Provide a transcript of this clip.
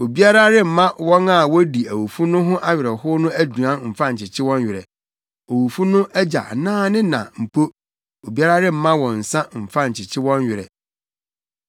Obiara remma wɔn a wodi awufo no ho awerɛhow no aduan mfa nkyekye wɔn werɛ, owufo no agya anaa ne na mpo, obiara remma wɔn nsa mfa nkyekye wɔn werɛ.